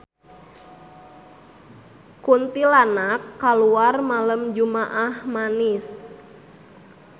Kuntilanak kaluar malem jumaah Manis